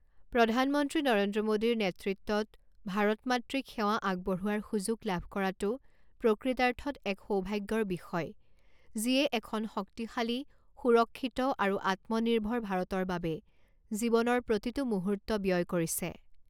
প্ৰধানমন্ত্ৰী নৰেন্দ্ৰ মোদীৰ নেতৃত্বত ভাৰত মাতৃক সেৱা আগবঢোৱাৰ সুযোগ লাভ কৰাটো প্ৰকৃতাৰ্থত এক সৌভাগ্যৰ বিষয়, যিয়ে এখন শক্তিশালী, সুৰক্ষিত আৰু আত্মনিৰ্ভৰ ভাৰতৰ বাবে জীৱনৰ প্ৰতিটো মুহূৰ্ত ব্যয় কৰিছে